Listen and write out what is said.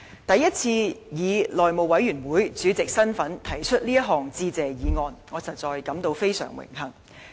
第一次以內務委員會主席身份提出這項致謝議案，我實在感到非常榮幸。